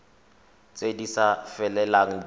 tse di sa felelang di